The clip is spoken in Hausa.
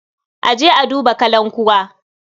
A je a duba kalankuwa.